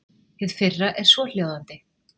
Hið fyrra er svohljóðandi.